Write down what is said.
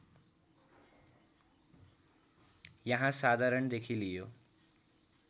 यहाँ साधारणदेखि लियो